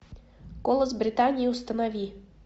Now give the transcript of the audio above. голос британии установи